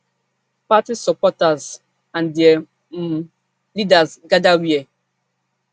party supporters and dia um leaders gather wia